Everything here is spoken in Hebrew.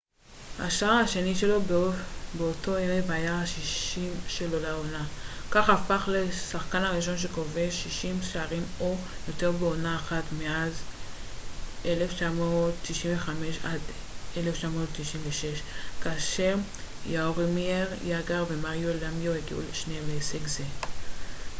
השער השני שלו באותו ערב היה ה-60 שלו לעונה כך הפך לשחקן הראשון שכובש 60 שערים או יותר בעונה אחת מאז 1995-96 כאשר יארומיר יאגר ומריו למיו הגיעו שניהם להישג זה